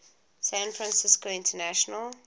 san francisco international